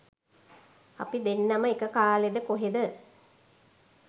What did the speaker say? අපි දෙන්නම එක කාලෙද කොහෙද